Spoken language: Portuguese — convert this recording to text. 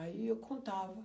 Aí eu contava.